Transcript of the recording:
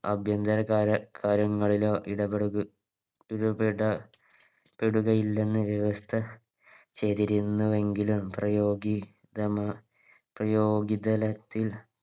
ആഭ്യന്തര കാര്യങ്ങളിലും ഇടപെടുക ഇടപെട പെടുകയില്ലെന്ന് വ്യവസ്ഥ ചെയ്തിരുന്നു എങ്കിലും പ്രയോഗി ഗിതമ പ്രയോഗിതലത്തിൽ